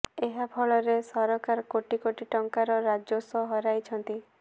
ଏହା ଫଳରେ ସରକାର କୋଟି କୋଟି ଟଙ୍କାର ରାଜସ୍ୱ ହରାଇଛନ୍ତି